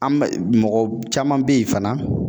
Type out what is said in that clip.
An bɛ mɔgɔ caman be ye fana